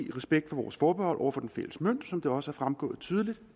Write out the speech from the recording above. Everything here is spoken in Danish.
i respekt for vores forbehold over for den fælles mønt som det også er fremgået tydeligt